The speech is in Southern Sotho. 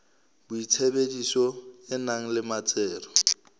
boitsebiso e nang le metsero